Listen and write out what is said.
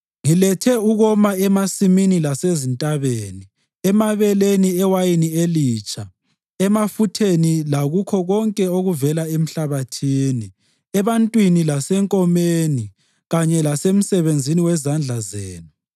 Ngilethe ukoma emasimini lasezintabeni, emabeleni, ewayinini elitsha, emafutheni lakukho konke okuvela emhlabathini, ebantwini lasenkomeni kanye lasemsebenzini wezandla zenu.”